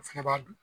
O fɛnɛ b'a dun